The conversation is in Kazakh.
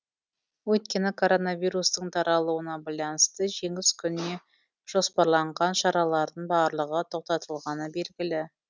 өйткені коронавирустың таралуына байланысты жеңіс күніне жоспарланған шаралардың барлығы тоқтатылғаны белгілі